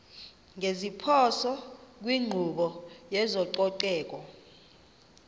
ngeziphoso kwinkqubo yezococeko